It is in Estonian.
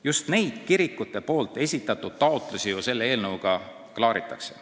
Just neid kirikute esitatud taotlusi ju selle eelnõuga klaaritakse.